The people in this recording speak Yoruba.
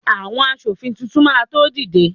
awon aṣòfin Titun ma to dide